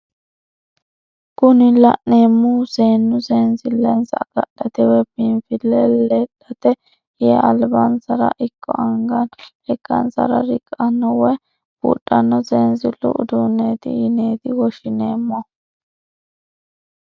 Kuni la'neemohu seennu sensillensa agadhate woyi biinfille ledhate yee albinsara ikko anganna lekkansara riqqanno woye buudhanno sensillu uduuneeti yineeti woshshineemohu.